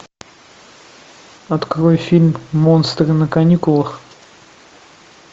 открой фильм монстры на каникулах